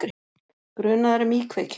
Grunaður um íkveikju